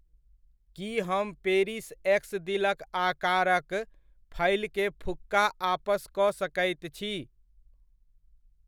की हम पेरिस एक्स दिलक आकारक फइलके फुक्का आपस कऽ सकैत छी?